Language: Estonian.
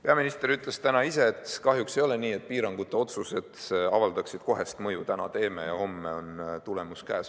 Peaminister ütles täna ise, et kahjuks ei ole nii, et piirangute otsused avaldaksid kohest mõju: täna teeme ja homme on tulemus käes.